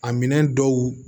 A minɛn dɔw